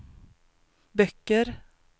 böcker